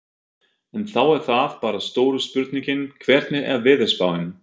En þá er það bara stóra spurningin, hvernig er veðurspáin?